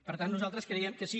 per tant nosaltres creiem que sí